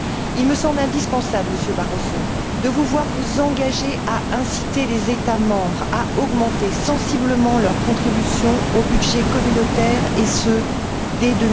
Il me semble indispensable, Monsieur Barroso, de vous voir vous engager à inciter les États membres à augmenter sensiblement leur contribution au budget communautaire, et ce dès